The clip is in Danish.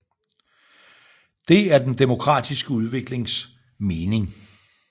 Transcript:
Det er den demokratiske udviklingens mening